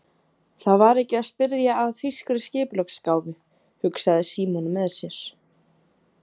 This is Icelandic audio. Það var ekki að spyrja að þýskri skipulagsgáfu, hugsaði Símon með sér.